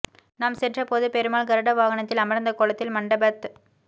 நாம் சென்றபோது பெருமாள் கருட வாகனத்தில் அமர்ந்த கோலத்தில் மண்டபத்